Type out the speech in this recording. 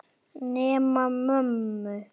Nema mömmu.